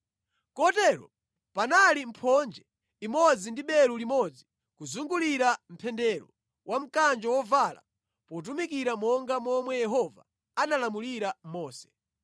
Kotero panali mphonje imodzi ndi belu limodzi kuzungulira mpendero wa mkanjo wovala potumikira monga momwe Yehova analamulira Mose.